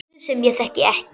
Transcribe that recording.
Guð sem ég þekki ekki.